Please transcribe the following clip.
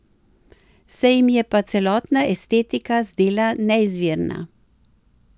Se jim je pa celotna estetika zdela neizvirna.